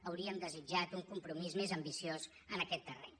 hauríem desitjat un compromís més ambiciós en aquest terreny